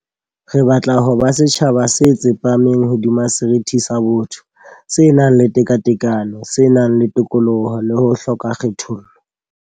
Re batla ho ba setjhaba se tsepameng hodima seriti sa botho, se nang le tekatekano, se nang le tokoloho le ho hloka kgethollo.